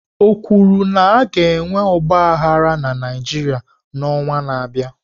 O kwuru na a ga-enwe ọgba aghara na Naịjirịa n'ọnwa na-abịa?